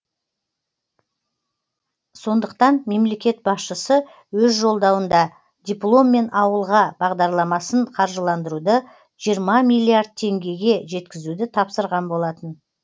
сондықтан мемлекет басшысы өз жолдауында дипломмен ауылға бағдарламасын қаржыландыруды жиырма миллиард теңгеге жеткізуді тапсырған болатын